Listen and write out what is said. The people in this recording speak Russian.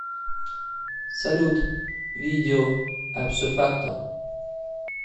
салют видео абсофакто